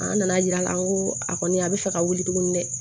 An nana yira la ko a kɔni a bɛ fɛ ka wuli tuguni dɛ